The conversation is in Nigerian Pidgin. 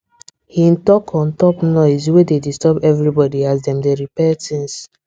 hin talk on top noise wey dey disturb everybody as dem dey repair things